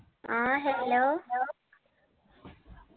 ആ hello